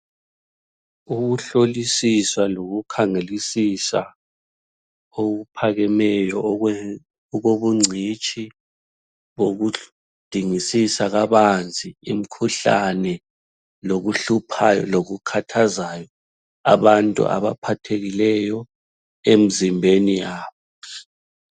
Ukuhlolisisisa lokukhangelisisa okuphakemeyo okobungcitshi bokudingisisa kabanzi imkhuhlane, lokuhluphayo lokukhathazayo abantu abaphathekileyo emzimbeni yabo.